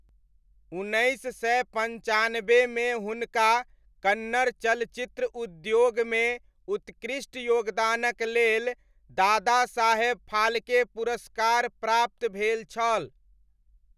उन्नैस सय पञ्चानबेमे हुनका कन्नड़ चलचित्र उद्योगमे उत्कृष्ट योगदानक लेल दादासाहेब फाल्के पुरस्कार प्राप्त भेल छल।